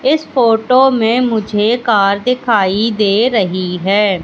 इस फोटो में मुझे कार दिखाई दे रही है।